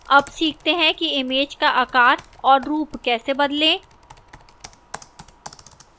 अब सीखते हैं कि image का आकार और रूप कैसे बदलें